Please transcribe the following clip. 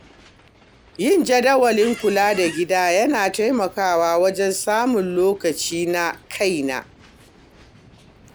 Yin jadawalin kula da gida yana taimakawa wajen samun lokaci na kaina.